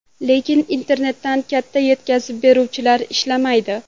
Lekin internetda katta yetkazib beruvchilar ishlamaydi.